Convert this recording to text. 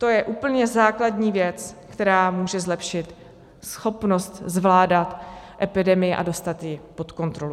To je úplně základní věc, která může zlepšit schopnost zvládat epidemii a dostat ji pod kontrolu.